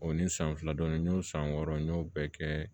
O ni san fila dɔɔnin n y'o san wɔɔrɔ n y'o bɛɛ kɛ